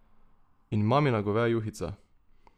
In mamina goveja juhica...